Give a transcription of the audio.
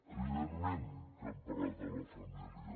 evidentment que hem parlat amb la família